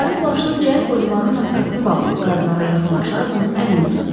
Mavi plaşlı cəld Olivanın maskasını bağlayıb kardinala yaxınlaşaraq onun əlini sıxdı.